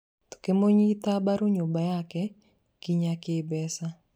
Tũkũmĩnyita mbaru nyũmba yake, nginyagia kĩĩmbeca